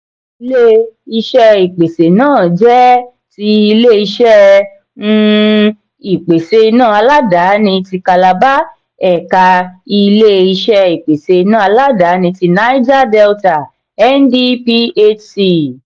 ilé-iṣé ìpèsè náà jẹ́ tí ilé-iṣẹ um ìpèsè iná aládàáni ti calabar ẹ̀ka ilé-iṣẹ ìpèsè iná aládàáni tí niger delta (ndphc)